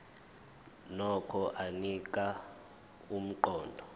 nokho anika umqondo